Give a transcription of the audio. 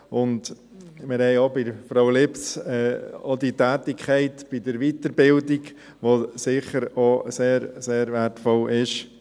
Wir haben bei Frau Lips weiter die Tätigkeit in der Weiterbildung, die sicher auch sehr wertvoll ist.